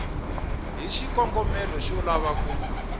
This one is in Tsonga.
hi xikongomelo xo lava ku